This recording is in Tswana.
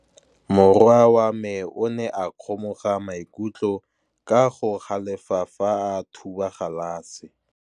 Morwa wa me o ne a kgomoga maikutlo ka go galefa fa a thuba galase.